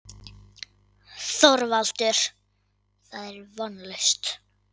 ÞORVALDUR: Það er vonlaust.